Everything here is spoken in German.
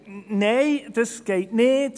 «Nein, das geht nicht.